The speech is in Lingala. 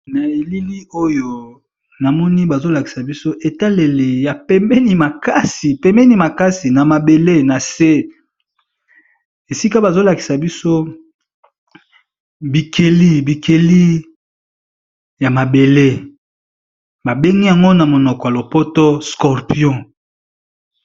Na elili oyo namoni, bazali kolakisa biso na etaleli ya pembeni makasi, bazali kolakisa biso niama ya zamba oyo babengi scorpion